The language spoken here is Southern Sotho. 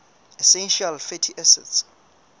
essential fatty acids